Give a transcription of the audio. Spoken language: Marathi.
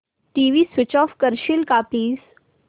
टीव्ही स्वीच ऑफ करशील का प्लीज